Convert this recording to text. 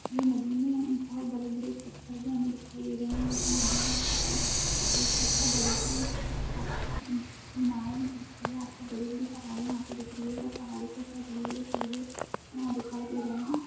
यह नदी में बोहोत बड़े- बड़े हमें पत्थर भी दिखाई दे रहे है | ये जो नदी है इसके पास एक आपको बड़ी सी मीनार दिख री है आपको बड़े-बड़े पहाड़े यहाँ दिख री हैं और पहाड़ो के ऊपर बड़े- बड़े पौधे यहाँ दिखाई दे रहे हैं।